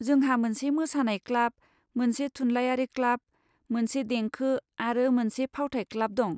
जोंहा मोनसे मोसानाय क्लाब, मोनसे थुनलायारि क्लाब, मोनसे देंखो आरो मोनसे फावथाइ क्लाब दं।